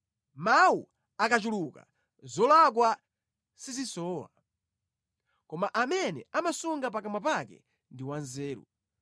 Mawu akachuluka zolakwa sizisowa, koma amene amasunga pakamwa pake ndi wanzeru.